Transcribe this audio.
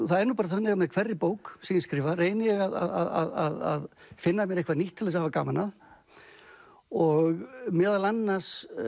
það er nú bara þannig að með hverri bók sem ég skrifa reyni ég að finna mér eitthvað nýtt til þess að hafa gaman af og meðal annars